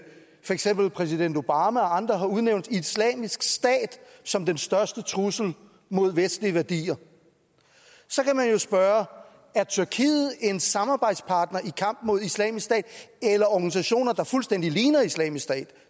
for eksempel præsident obama og andre har udnævnt islamisk stat som den største trussel mod vestlige værdier så kan man jo spørge er tyrkiet en samarbejdspartner i kampen mod islamisk stat eller organisationer der fuldstændig ligner islamisk stat